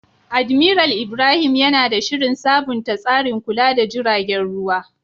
Admiral Ibrahim yana da shirin sabunta tsarin kula da jiragen ruwa.